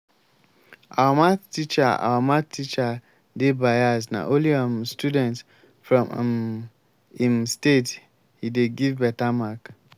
our math teacher our math teacher dey bias na only um students from um im state he dey give beta mark